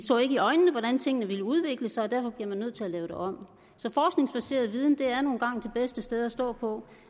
så ikke i øjnene hvordan tingene ville udvikle sig og derfor bliver vi nødt til at lave det om så forskningsbaseret viden er nu engang det bedste at stå på